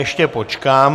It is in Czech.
Ještě počkám.